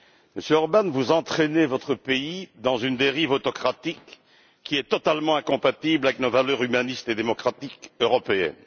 Monsieur Orbán, vous entraînez votre pays dans une dérive autocratique qui est totalement incompatible avec nos valeurs humanistes et démocratiques européennes.